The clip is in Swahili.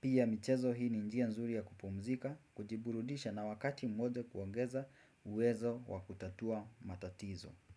Pia michezo hii ni njia nzuri ya kupumzika, kujiburudisha na wakati mmoja kuongeza uwezo wa kutatua matatizo.